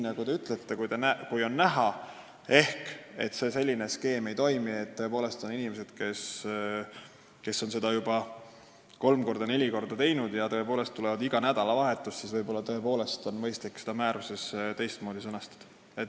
Nagu te ütlesite, kui on näha, et selline skeem ei toimi – meil on inimesed, kes on juba kolm-neli korda koolituse läbi teinud ja tulevad siia tõepoolest iga nädalavahetus –, siis on võib-olla mõistlik see määruses teistmoodi sõnastada.